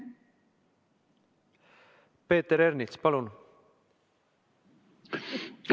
Peeter Ernits, palun!